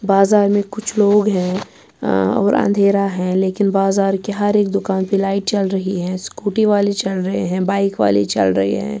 .باجر مے کچھ لوگ ہیں ا اور اندرا ہیں لیکن بازار کے ہر ایک دکان پی لایٹ چل رہی ہیں سکوٹی والے چل رہے ہیں بایک والے چل رہے ہیں